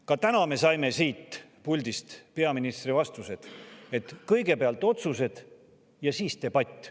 Ka täna me saime siit puldist peaministrilt vastused, et kõigepealt otsused ja siis debatt.